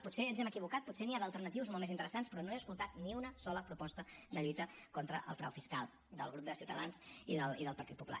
potser ens hem equivocat potser n’hi ha d’alternatius molt més interessants però no he escoltat ni una sola proposta de lluita contra el frau fiscal del grup de ciutadans i del partit popular